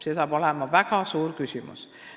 Sellest saab väga oluline küsimus.